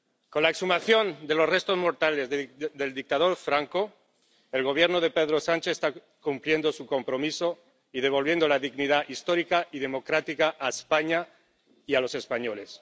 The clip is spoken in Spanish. Con la exhumación de los restos mortales del dictador Franco el Gobierno de Pedro Sánchez está cumpliendo su compromiso y devolviendo la dignidad histórica y democrática a España y a los españoles.